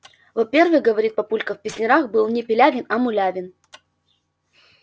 во-первых говорит папулька в песнярах был не пилявин а мулявин